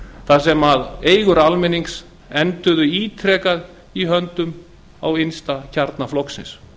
þar sem eigur almennings enduðu ítrekað í höndum innsta kjarna flokksins